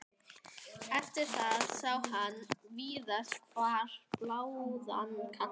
Eftir það sá hann víðast hvar báða kanta.